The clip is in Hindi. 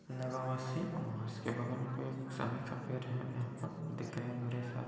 लगा हुआ सी और उसके बगल में कोई एक समी का पेड़ है यहाँ पर दिख रहे हैं बड़े सा --